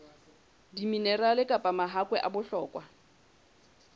diminerale kapa mahakwe a bohlokwa